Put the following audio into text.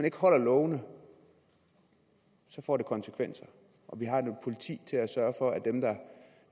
ikke holder lovene så får det konsekvenser og vi har et politi til at sørge for at dem der